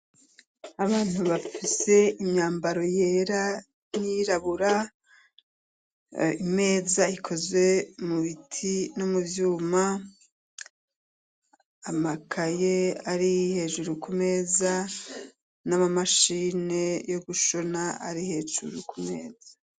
Abantu bafise imyambaro yera nirabura imeza ikozwe mubiti no mu vyuma amakaye ari hejuru ku meza n'amamashine yo gushona ari hejuru ku meza.